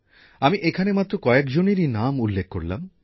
আমি এখানে মাত্র কয়েকজনেরই নাম উল্লেখ করলাম